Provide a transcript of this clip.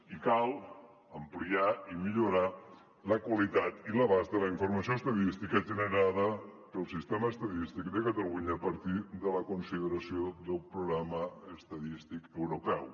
i cal ampliar i millorar la qualitat i l’abast de la informació estadística generada pel sistema estadístic de catalunya a partir de la consideració del programa estadístic europeu